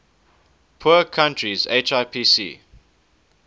poor countries hipc